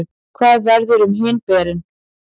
hvað verður um hin beinin